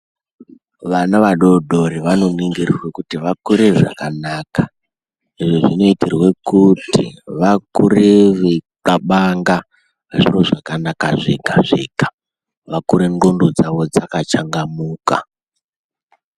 Vana vadodori vanoningirwa kuti vakure zvakanaka. Izvi zvinoitirwa kuti vakure veixlabanga zviro zvakanaka zvega zvega. Vakure ndxondo dzavo dzakachangamuka.